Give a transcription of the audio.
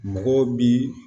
Mɔgɔw bi